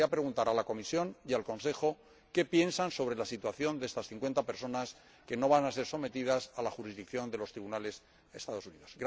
Me gustaría preguntar a la Comisión y al Consejo qué piensan sobre la situación de estas cincuenta personas que no van a ser sometidas a la jurisdicción de los tribunales de los Estados Unidos.